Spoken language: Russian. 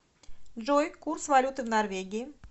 джой курс валюты в норвегии